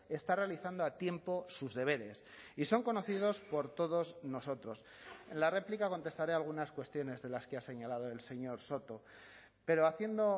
está realizando a tiempo sus deberes y son conocidos por todos nosotros en la réplica contestaré a algunas cuestiones de las que ha señalado el señor soto pero haciendo